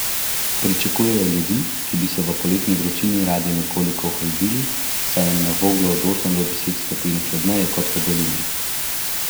Pričakujejo ljudi, ki bi se v poletni vročini radi nekoliko ohladili, saj je na Voglu od osem do deset stopinj hladneje kot v dolini.